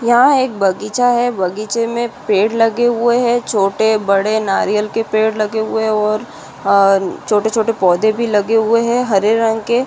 यहाँ एक बगीचा है बगीचे मै पेड़ लगे हुए है छोटे बड़े नारियल के पेड़ लगे हुए है और छोटे छोटे पौधे भी लगे हुए है हरे रंग के।